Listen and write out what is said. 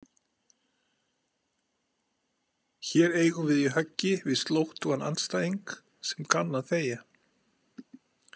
Hér eigum við í höggi við slóttugan andstæðing sem kann að þegja.